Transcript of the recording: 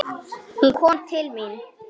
Hún kom til mín.